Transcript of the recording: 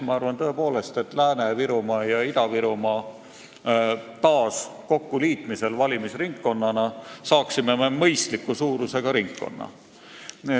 Ma arvan, tõepoolest, et Lääne-Virumaa ja Ida-Virumaa taas valimisringkonnana kokkuliitmisel saaksime mõistliku suurusega ringkonna.